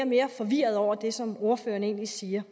mere forvirret over det som ordføreren egentlig siger